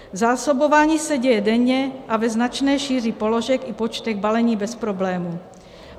Zásobování se děje denně a ve značné šíři položek i počtech balení bez problémů.